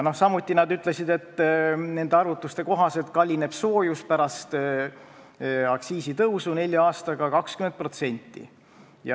Samuti nad ütlesid, et nende arvutuste kohaselt kallineb soojus pärast aktsiisitõusu nelja aastaga 20%.